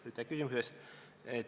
Aitäh küsimuse eest!